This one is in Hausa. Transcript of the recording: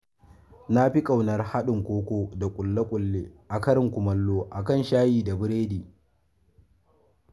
Na fi ƙaunar haɗin koko da kule-kule a karin kummalo a kan shayi da burodi.